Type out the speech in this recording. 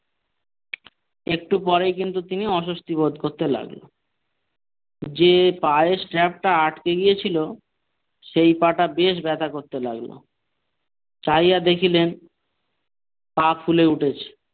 একটু পরে কিন্তু তিনি অস্বস্তি বোধ করতে লাগল যে পায়ের strap টা আটকে গিয়েছিল সেই পা-টা বেশ ব্যাথা করতে লাগলো চাহিয়া দেখিলেন পা ফুলে উঠেছে।